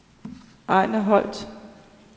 Ejnar Holt